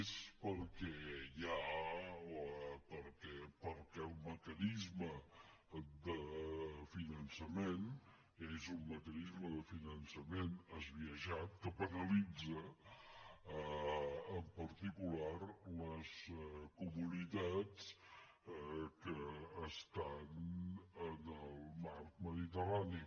és perquè el mecanisme de finançament és un mecanisme de finançament esbiaixat que penalitza en particular les comunitats que estan en el marc mediterrani